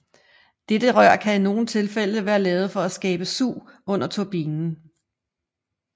Dette rør kan i nogen tilfælde være lavet for at skabe sug under turbinen